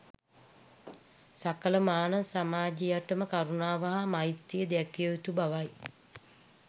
සකල මානව සමාජයටම කරුණාව හා මෛත්‍රිය දැක්විය යුතු බවයි.